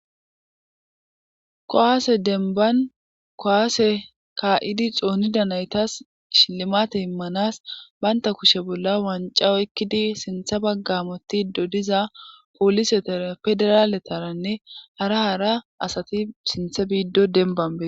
kowaase denban kowaase ka7idi xoonida naytas shilimate immanas baynta kushe bolla wanca oykkidi sintha baggamoti dodiza pooliseta federaaletaranne hara hara asati sinthe biiddo denban bee